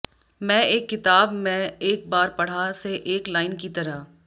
मैं एक किताब मैं एक बार पढ़ा से एक लाइन की तरह